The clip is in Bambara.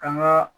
Kan ka